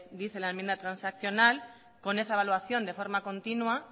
dice la enmienda transaccional con esa evaluación de forma continua